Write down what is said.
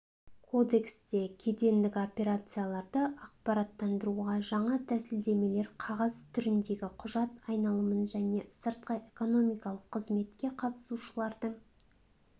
кодексте кедендік операцияларды ақпараттандыруға жаңа тәсілдемелер қағаз түріндегі құжат айналымын және сыртқы экономикалық қызметке қатысушылардың